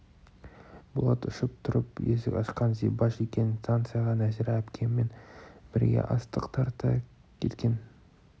болат ұшып тұрып есік ашқан зибаш екен станцияға нәзира әпкеммен бірге астық тарта кеткен